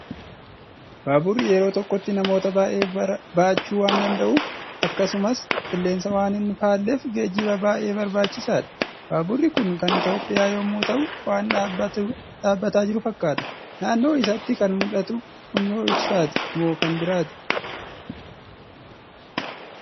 Baaburri yeroo tokkotti namoota baay'ee barachuu wan danda'uuf, akkasumas qilleensa waan hin faalleef geejjiba baay'ee barbaachisaadha. Baaburri Kun kan Itoophiyaa yommuu ta'u, waan dhaabbataa jiru fakkaata. Naannoo isaatti kan mul'atu funyoo ibsaati moo kan biraati?